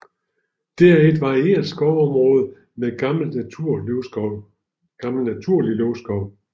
Det er et varieret skovområde med gammel naturlig løvskov